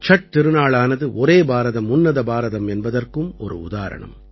சட் திருநாளானது ஒரே பாரதம் உன்னத பாரதம் என்பதற்கும் ஒரு உதாரணம்